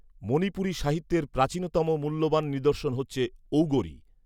মণিপুরী সাহিত্যের প্রাচীনতম মূল্যবান নিদর্শন হচ্ছে ঔগরি